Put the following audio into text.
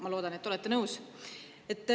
Ma loodan, et te olete nõus.